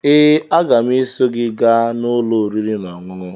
Ee, aga m eso gị gaa n'ụlọ oriri na ọṅụṅụ